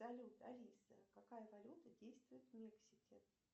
салют алиса какая валюта действует в мексике